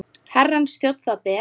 Herrans þjónn það ber.